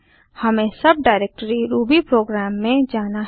हमें sub directory ruby program में जाना है